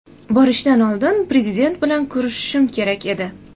Borishdan oldin Prezident bilan ko‘rishishim kerak edi.